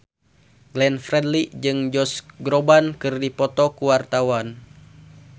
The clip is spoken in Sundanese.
Glenn Fredly jeung Josh Groban keur dipoto ku wartawan